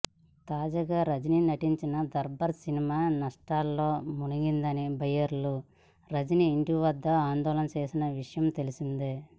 తాజాగా రజిని నటించిన దర్బార్ సినిమా నష్టాల్లో ముంచిందని బయ్యర్లు రజిని ఇంటిదగ్గర ఆందోళన చేసిన విషయం తెలిసిందే